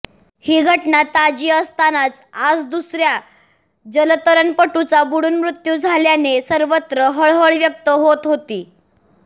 ही घटना ताजी असतानाच आज दुसऱ्या जलतरणपटूचा बुडून मृत्यू झाल्याने सर्वत्र हळहळ व्यक्त होत होती